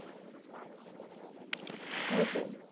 এই টাই